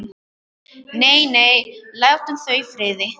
Nei, nei, látum þau í friði.